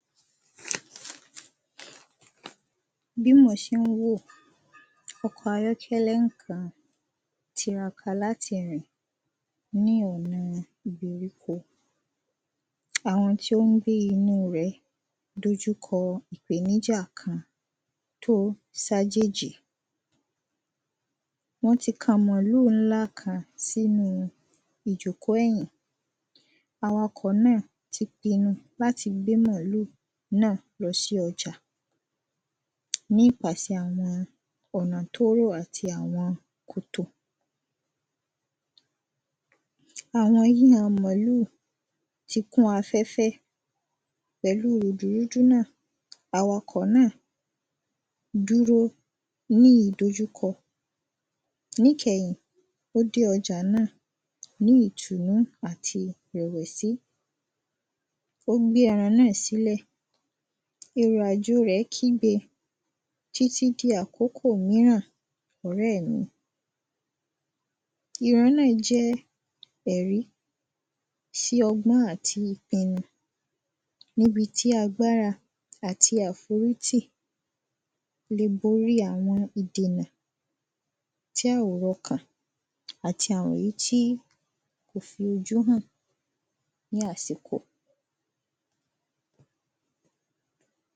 Bí mo ṣe ń wò ọkọ̀ ayọ́kẹ́lẹ́ kan tiraka láti rìn ní ọ̀nà ìgbèríko Àwọn tí ó ń gbé inú rẹ̀ dójú kọ ìpèníjà kan tí ó ṣàjèjì Wọ́n ti kan màlúù ńlá kan sínu ìjòkó ẹ̀yìn Awakọ̀ náà ti pinu láti gbé màlúù náà lọ sí ọjà Nípasẹ àwọn ọ̀nà tóóró àti àwọn kòtò Àwọn yìí han màlúù tikún afẹ́fẹ́ pẹ̀lú rùjùrújú náà awakọ náà dúro ní ìdojúkọ Níkẹyìn ó dé ọjà náà ní ìtùnú àti rẹ̀wẹ̀sì Ó gbé ẹran náà sílẹ̀ Èrò àjò rẹ̀ kígbe títí di àkókò míràn ọ̀rẹ́ mi Ìran náà jẹ́ ẹ̀rí sí ọgbọ́n àti ìpinu Níbi tí agbára àti àforítì le borí àwọn ìdènà tí a ò rọkàn àti àwọn èyí tí ò fi ojú hàn ní àsìkò